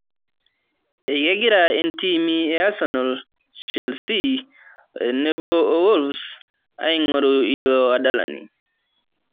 Kegira intiimi e asenal, chelisi tenebo o wolves aing'oru ilo adalani